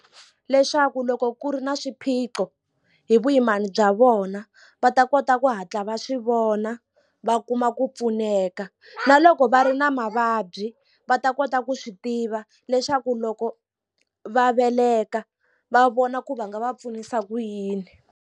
Leswaku loko ku ri na swiphiqo hi vuyimana bya vona va ta kota ku hatla va swivona va kuma ku pfuneka na loko va ri na mavabyi va ta kota ku swi tiva leswaku loko va veleka va vona ku va nga va pfunisa ku yini.